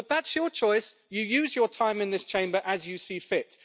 But that's your choice. You use your time in this Chamber as you see fit.